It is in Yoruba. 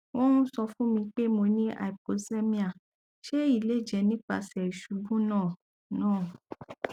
won n sọ fun mi pe mo ni hypoxemia se eyi le je nipasẹ isubu naa naa